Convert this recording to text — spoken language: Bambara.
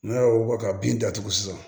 N'a y'o wɔ ka bin datugu sisan